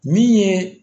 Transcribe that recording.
Min ye